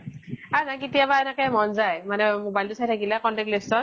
আৰু নহয়, কেতিয়াবা এনেকে মন যায় , মানে mobile তো চাই থাকিলে contact list ত ।